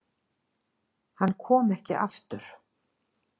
Hann kom ekki aftur.